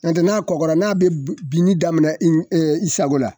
Nɔntɛ n'a kɔgɔra n'a bɛ b binni daminɛ in i sago la